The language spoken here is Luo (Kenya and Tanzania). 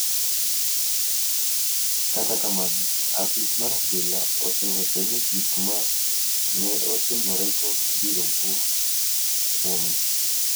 Kata kamano, apis mar obila osewacho ni gik ma ne otimorego ibiro wuoyo kuomgi .